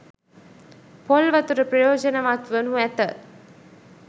පොල් වතුර ප්‍රයෝජනවත් වනු ඇත